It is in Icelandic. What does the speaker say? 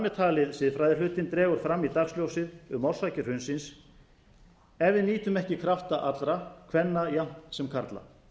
með talinn siðfræðihlutinn dregur fram í dagsljósið um orsakir hrunsins ef við nýtum ekki krafta allra kvenna jafnt sem karla